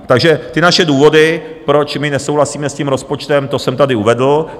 Takže ty naše důvody, proč my nesouhlasíme s tím rozpočtem, to jsem tady uvedl.